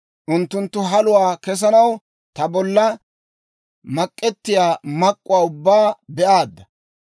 Unttunttu haluwaa kessanaw ta bollan mak'ettiyaa mak'k'uwaa ubbaa be'aadda.